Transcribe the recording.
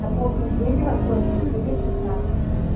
совхоз медведево сорок четыре шестнадцать